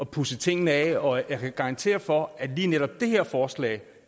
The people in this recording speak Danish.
pudse tingene af og jeg kan garantere for at lige netop det her forslag